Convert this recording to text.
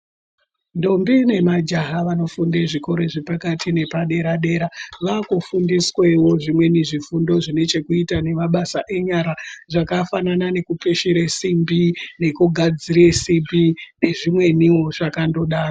Ndombi nemajaha vanofunde zvikora zvepakati nepadera dera vakufundiswawo zvimweni zvifundo zvine chekuita nemabasa enyara, zvakafanana nekukweshere simbi nekugadzire simbi nezvimweniwo zvakandodaro.